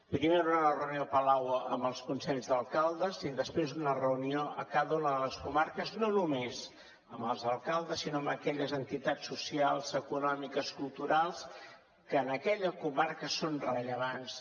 primer hi haurà una reunió a palau amb els consells d’alcaldes i després una reunió a cada una de les comarques no només amb els alcaldes sinó amb aquelles entitats socials econòmiques culturals que en aquella comarca són rellevants